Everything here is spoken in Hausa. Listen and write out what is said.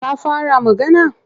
Ta fara magana?